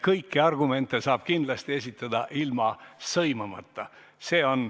Kõiki argumente saab kindlasti esitada ilma sõimamata.